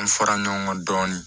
An fara ɲɔgɔn kan dɔɔnin